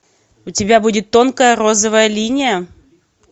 у тебя будет тонкая розовая линия